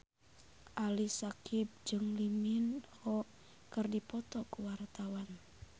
Ali Syakieb jeung Lee Min Ho keur dipoto ku wartawan